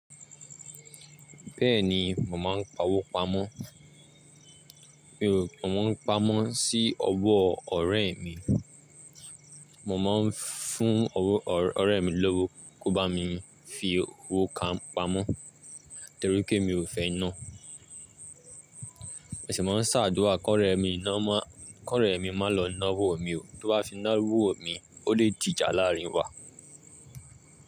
Bẹ́ẹ̀ni mò má ń pa owó pamọ́, mi ò, mò ń pamọ́ sí ọwọ́ ọ̀rẹ́ mi, mò máa ń fún ọ̀rẹ́ mi lówó kó bá mi fi owó kan pamọ́ torí pé mi ò fẹ́ ná. Mà ń sá àdúrà kó ọ̀rẹ́ mi ná máa, kó ọ̀rẹ́ mi má lọ ná owó mi o. Tí ó bá fi ná owó mi, ó lè di ìjà láàárín wa.